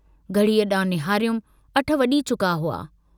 घड़ीअ डांडुं निहारियुमि अठ वजी चुका हुआ।